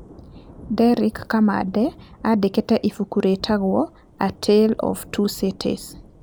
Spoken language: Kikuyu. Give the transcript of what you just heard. Derric Kamande aandĩkire ibuku rĩtagwo "A Tale of Two Cities".